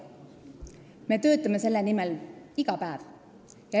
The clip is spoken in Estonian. Me töötame selle nimel iga päev.